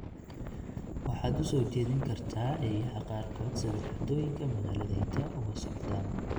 waxaad u soo jeedin kartaa eeyaha qaarkood sida dhacdooyinka magaaladayada uga socdaan